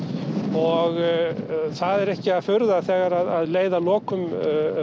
og það er ekki að furða þegar leið að lokum